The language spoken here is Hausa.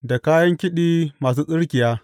Da kayan kiɗi masu tsirkiya.